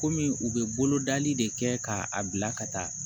Kɔmi u bɛ bolodali de kɛ k'a bila ka taa